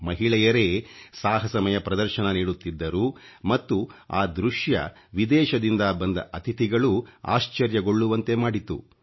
ಮಹಿಳೆಯರೇ ಸಾಹಸಮಯ ಪ್ರದರ್ಶನ ನೀಡುತ್ತಿದ್ದರು ಮತ್ತು ಆ ದೃಶ್ಯ ವಿದೇಶದಿಂದ ಬಂದ ಅತಿಥಿಗಳೂ ಆಶ್ಚರ್ಯಗೊಳ್ಳುವಂತೆ ಮಾಡಿತು